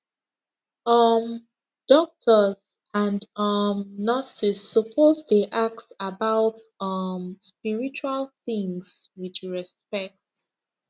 um doctors and um nurses suppose dey ask about um spiritual things with respect